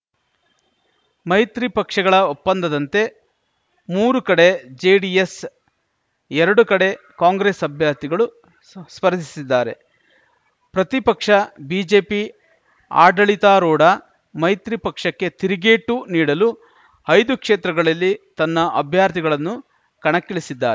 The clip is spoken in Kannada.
ಮೈತ್ರಿ ಪಕ್ಷಗಳ ಒಪ್ಪಂದದಂತೆ ಮೂರು ಕಡೆ ಜೆಡಿಎಸ್‌ ಎರಡು ಕಡೆ ಕಾಂಗ್ರೆಸ್‌ ಅಭ್ಯರ್ಥಿಗಳು ಸ್ಪರ್ಧಿಸಿದ್ದಾರೆ ಪ್ರತಿಪಕ್ಷ ಬಿಜೆಪಿ ಆಡಳಿತಾರೂಢ ಮೈತ್ರಿ ಪಕ್ಷಕ್ಕೆ ತಿರುಗೇಟು ನೀಡಲು ಐದು ಕ್ಷೇತ್ರಗಳಲ್ಲಿ ತನ್ನ ಅಭ್ಯರ್ಥಿಗಳನ್ನು ಕಣಕ್ಕಿಳಿಸಿದ್ದಾ